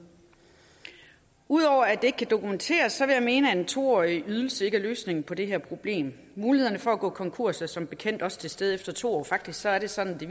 ud over at det ikke kan dokumenteres vil jeg mene at en to årig ydelse ikke er løsningen på det her problem mulighederne for at gå konkurs er som bekendt også til stede efter to år faktisk er det sådan at det